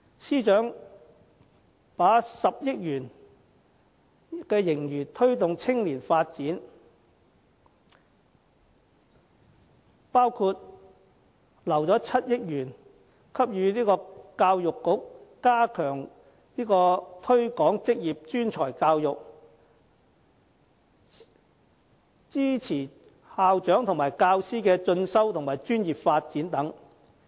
司長把10億元盈餘用於推動青年發展，包括預留7億元予教育局加強推廣職業專才教育，支持校長和教師的進修和專業發展等。